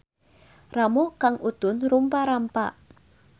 Ramo Kang Utun rumpa-rampa.